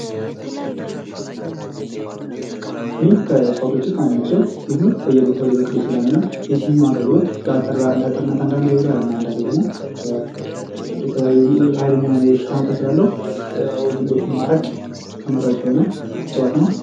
ሊም ከእጽዋቶች ውስጥ አንደኛው ሲሆን በየቦታው ሊበቅል ይችላል እና የሊም አገልግሎት ለአጥርነት ይውላል እና አንዳንዴ ደግሞ ሐይለኛ የሆነ የሽታ መጠን ስላለው ዝንቦችን ለማራቅ ተመራጭ የሆነ እፅዋት ነው ።